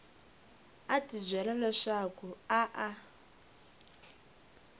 a tibyela leswaku a a